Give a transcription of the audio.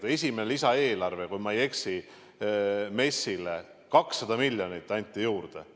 Aga esimese lisaeelarvega anti, kui ma ei eksi, MES-ile 200 miljonit juurde.